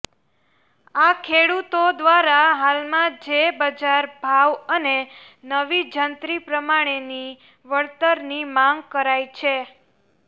આ ખેડૂતો દ્વારા હાલમાં જે બજાર ભાવ અને નવી જંત્રી પ્રમાણેની વળતરની માગ કરાઈ છે